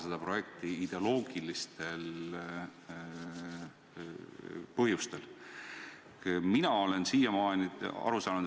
Seal on tõesti sees, nagu te ütlete, teede raha, kriisimeetmed, investeeringud.